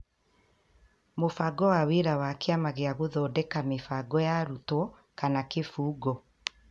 Mũbango wa Wĩra wa Kĩama gĩa gũthondeka mĩbango ya arutwo / Kĩbungo